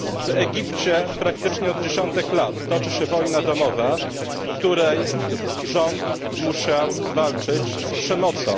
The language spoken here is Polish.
W Egipcie praktycznie od dziesiątek lat toczy się wojna domowa, w której rząd musiał walczyć z przemocą.